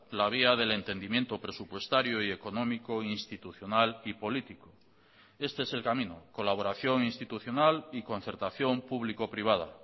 la vía del entendimiento presupuestario y económico institucional y político este es el camino colaboración institucional y concertación público privada